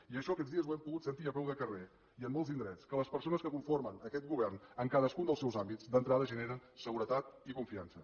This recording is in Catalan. i això aquests dies ho hem pogut sentir a peu de carrer i en molts indrets que les persones que conformen aquest govern en cadascun dels seus àmbits d’entrada generen seguretat i confiança